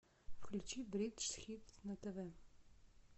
включи бридж хит на тв